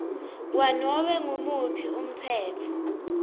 kwanobe ngumuphi umtsetfo